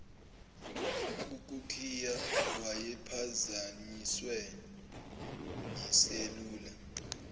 ukukhiya wayephazanyiswe yiselula